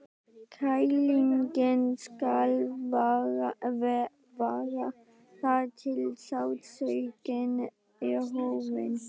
Kælingin skal vara þar til sársaukinn er horfinn.